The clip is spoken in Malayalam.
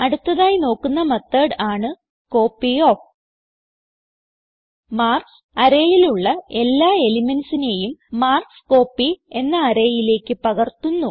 അടുത്തതായി നോക്കുന്ന മെത്തോട് ആണ് കോപ്പിയോഫ് മാർക്ക്സ് arrayയിലുള്ള എല്ലാ elementsനെയും മാർക്ക്സ്കോപ്പി എന്ന arrayയിലേക്ക് പകർത്തുന്നു